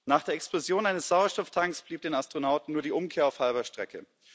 Nach der Explosion eines Sauerstofftanks blieb den Astronauten nur die Umkehr auf halber Strecke.